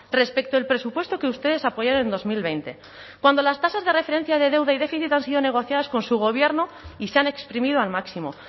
respecto el presupuesto que ustedes apoyaron en dos mil veinte cuando las tasas de referencia de deuda y déficit han sido negociadas con su gobierno y se han exprimido al máximo